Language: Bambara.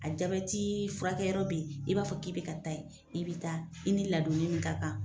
A jati furakɛ yɔrɔ be ye i b'a fɔ k'i be ka taa yen i bi taa i ni ladonni min ka kan